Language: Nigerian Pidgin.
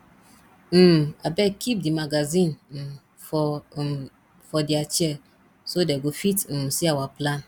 um abeg keep the magazine um for um for their chair so dey go fit um see our plan